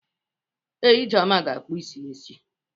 Ee, Ijeoma ga-akpụ isi ya echi.